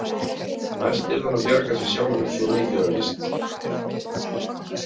Næst yrði hann að bjarga sér sjálfur, svo mikið var víst.